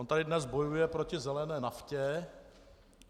On tady dnes bojuje proti zelené naftě.